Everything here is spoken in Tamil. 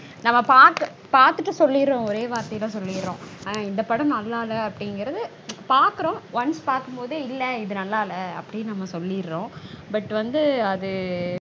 நம்ம பாத் பாத்துட்டு சொல்லிடறோம். ஓரே வார்த்தைல சொல்லிடறோம். அஹ் இந்த படம் நல்லா இல்ல அப்டீங்கறது பாக்கறோம். Once பாக்கும்போதே இல்ல இது நல்லா இல்ல அப்டீனு நாம சொல்லிடறோம்